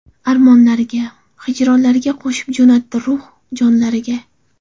Armonlariga, Hijronlariga – Qo‘shib jo‘natdi Ruh, jonlariga.